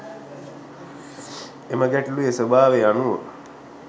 එම ගැටලුවේ ස්වභාවය අනුව